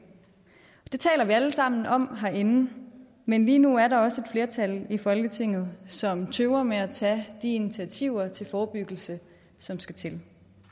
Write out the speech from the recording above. det taler vi alle sammen om herinde men lige nu er der også flertal i folketinget som tøver med at tage de initiativer til forebyggelse som skal til